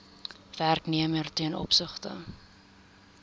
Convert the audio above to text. werknemer ten opsigte